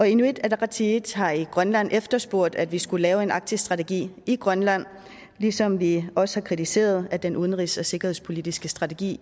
inuit ataqatigiit har i grønland efterspurgt at vi skulle lave en arktisk strategi i grønland ligesom vi også har kritiseret at den udenrigs og sikkerhedspolitiske strategi